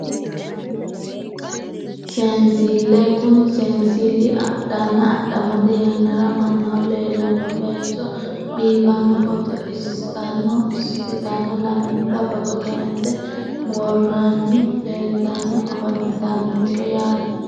Seenssille kuni seensilli adhanna adhamate yannara mannaho leellanno baycho biiffanno footo isitano isetano lamenta footo kayinse worroonniti leeltanni afantannonke yaate